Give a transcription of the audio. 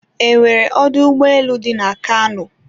e nwere ọdọ ụgbọelu dị na Kano?